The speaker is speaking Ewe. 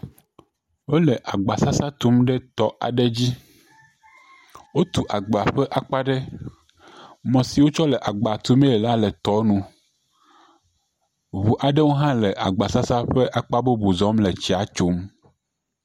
Wole agba sasa tum ɖe etɔ aɖe dzi. Wotu agba ƒe akpa ɖe, emɔ si wokɔ le agba tu mee hã la le tsia nu. Ŋu aɖewo hã le agbasasa ƒe mɔ bubu zɔm le etsia tso.